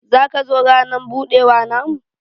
zaka zo ranan budewa na mu?